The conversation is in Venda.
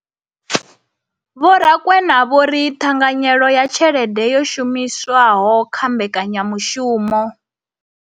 Vho Rakwena vho ri ṱhanganyelo ya tshelede yo shumiswaho kha mbekanya mushumo.